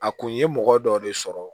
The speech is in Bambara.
A kun ye mɔgɔ dɔ de sɔrɔ